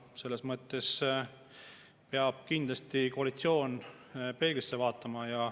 Selles mõttes peab koalitsioon kindlasti peeglisse vaatama.